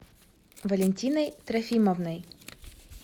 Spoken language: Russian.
валентиной трофимовной